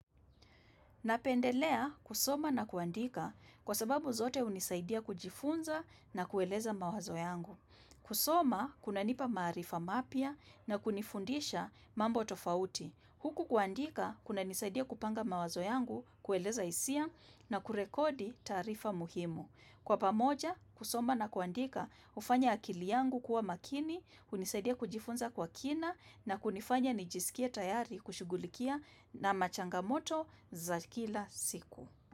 Napendelea kusoma na kuandika kwa sababu zote hunisaidia kujifunza na kueleza mawazo yangu. Kusoma, kuna nipa maarifa mapya na kunifundisha mambo tofauti. Huku kuandika, kuna nisaidia kupanga mawazo yangu kueleza hisia na kurekodi taarifa muhimu. Kwa pamoja, kusoma na kuandika hufanya akili yangu kuwa makini, hunisaidia kujifunza kwa kina na kunifanya nijisikie tayari kushughulikia na machangamoto za kila siku.